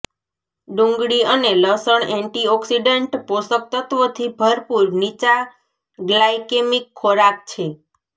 ડુંગળી અને લસણ એન્ટીઑકિસડન્ટ પોષક તત્ત્વોથી ભરપૂર નીચા ગ્લાયકેમિક ખોરાક છે